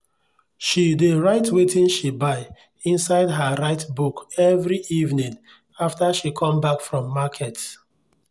she dey write wetin she buy inside her write book every evening after she come back from market.